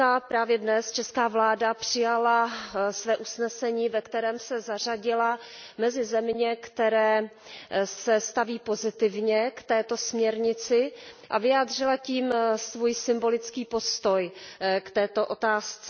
Právě dnes česká vláda přijala své usnesení, ve kterém se zařadila mezi země, které se staví pozitivně k této směrnici, a vyjádřila tím svůj symbolický postoj k této otázce.